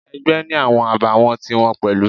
Ẹgbẹ́ ni awọn àbàwọ́n ti wọn pẹ̀lú.